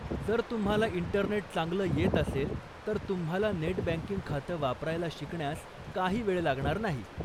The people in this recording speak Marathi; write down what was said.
जर तुम्हाला इंटरनेट चांगलं येत असेल तर तुम्हाला नेट बँकिंग खातं वापरायला शिकण्यास काही वेळ लागणार नाही.